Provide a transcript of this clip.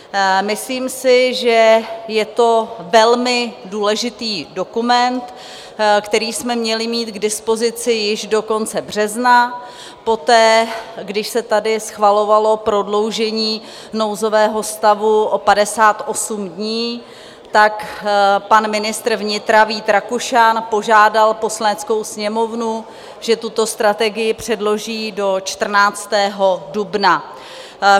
Myslím si, že je to velmi důležitý dokument, který jsme měli mít k dispozici již do konce března poté, když se tady schvalovalo prodloužení nouzového stavu o 58 dní, tak pan ministr vnitra Vít Rakušan požádal Poslaneckou sněmovnu, že tuto strategii předloží do 14. dubna.